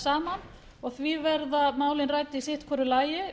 saman því verða málin rædd hvort í sínu lagi